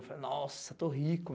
Eu falei nossa, estou rico.